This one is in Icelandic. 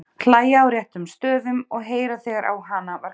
Hlæja á réttum stöðum og heyra þegar á hana var kallað.